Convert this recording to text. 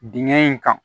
Dingɛ in kan